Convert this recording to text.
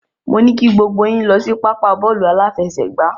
Mo ní kí gbogbo yín lọ sí pápá bọ́ọ̀lù aláfẹsẹ̀gbá.